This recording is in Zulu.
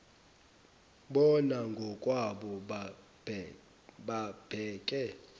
bona ngokwabo babheke